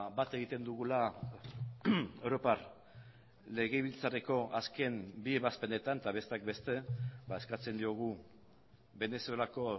bat egiten dugula europar legebiltzarreko azken bi ebazpenetan eta besteak beste eskatzen diogu venezuelako